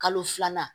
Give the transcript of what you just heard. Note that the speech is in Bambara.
Kalo filanan